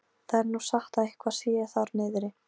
Það er nú sagt að eitthvað sé þar niðri.